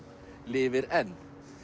lifir enn